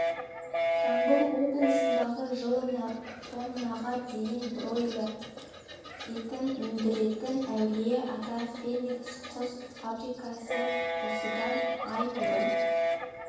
жамбыл облысындағы жылына тоннаға дейін бройлер етін өндіретін әулие-ата феникс құс фа брикасы осыдан ай бұрын